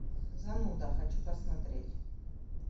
зануда хочу посмотреть